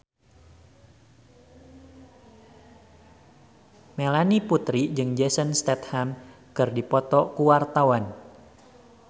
Melanie Putri jeung Jason Statham keur dipoto ku wartawan